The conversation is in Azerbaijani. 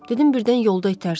Dedim birdən yolda itərsən.